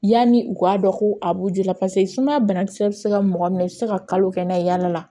Yanni u k'a dɔn ko a b'u joli la paseke sumaya banakisɛ bɛ se ka mɔgɔ minɛ i tɛ se ka kalo kɛ n'a ye yaala la